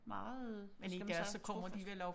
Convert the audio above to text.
Meget hvad skal man sige trofaste